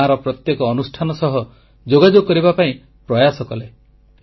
ଗାଁର ପ୍ରତ୍ୟେକ ଅନୁଷ୍ଠାନ ସହ ଯୋଗାଯୋଗ କରିବା ପାଇଁ ପ୍ରୟାସ କଲେ